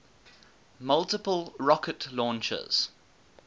multiple rocket launchers